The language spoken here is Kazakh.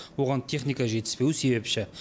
оған техника жетіспеуі себепші